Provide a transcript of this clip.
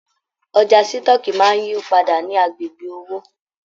Ọjà sitọ̀ọ́kíi máa n yípadà ní agbègbè òwò.